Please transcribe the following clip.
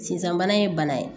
Sisan bana ye bana ye